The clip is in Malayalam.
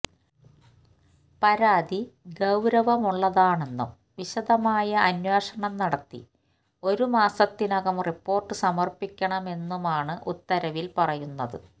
പരാതി ഗൌരവമുള്ളതാണെന്നും വിശദമായ അന്വേഷണം നടത്തി ഒരു മാസത്തിനകം റിപ്പോർട്ട് സമർപ്പിക്കണമെന്നുമാണ് ഉത്തരവിൽ പറയുന്നത്